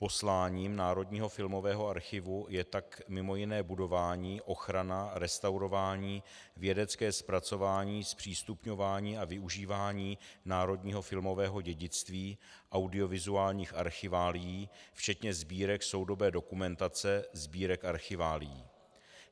Posláním Národního filmového archivu je tak mimo jiné budování, ochrana, restaurování, vědecké zpracování, zpřístupňování a využívání národního filmového dědictví, audiovizuálních archiválií, včetně sbírek soudobé dokumentace, sbírek archiválií.